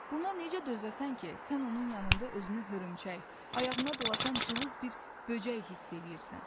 Buna necə dözəsən ki, sən onun yanında özünü hörümçək, ayağına dolaşan cılız bir böcək hiss eləyirsən.